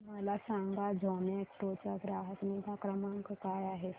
मला सांगा झोमॅटो चा ग्राहक निगा क्रमांक काय आहे